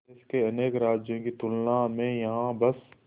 देश के अनेक राज्यों की तुलना में यहाँ बस